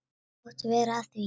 Máttu vera að því?